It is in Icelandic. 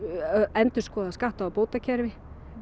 endurskoða skatta og bótakerfi